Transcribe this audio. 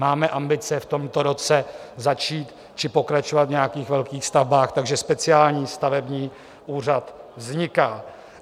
Máme ambice v tomto roce začít či pokračovat v nějakých velkých stavbách, takže speciální stavební úřad vzniká.